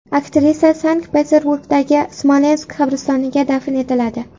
Aktrisa Sankt-Peterburgdagi Smolensk qabristoniga dafn etiladi.